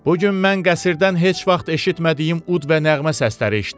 Bu gün mən qəsrdən heç vaxt eşitmədiyim ud və nəğmə səsləri eşitdim.